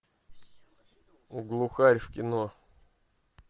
глухарь в кино